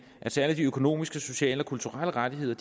at særlig de økonomiske sociale og kulturelle rettigheder